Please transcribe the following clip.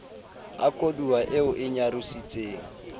a koduwa eo e nyarositseng